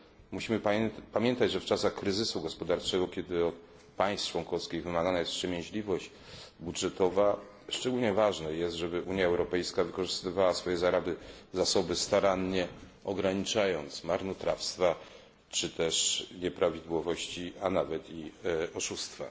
Musimy pamiętać, że w czasach kryzysu gospodarczego, kiedy od państw członkowskich wymagana jest wstrzemięźliwość budżetowa, szczególnie ważne jest, żeby Unia Europejska wykorzystywała swoje zasoby starannie, ograniczając marnotrawstwa czy też nieprawidłowości, a nawet i oszustwa.